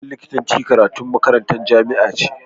Karatun likitanci karatun makarantar jamia ne